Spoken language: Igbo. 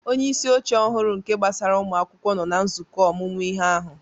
Onye isi oche ọhụrụ nke ihe gbasara ụmụ akwụkwọ nọ na nzukọ ọmụmụ ihe ahụ